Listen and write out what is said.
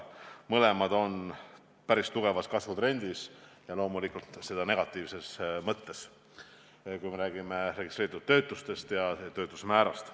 Mõlemad näitajad on päris tugevas kasvutrendis ja seda loomulikult negatiivses mõttes, kui me räägime registreeritud töötutest ja töötuse määrast.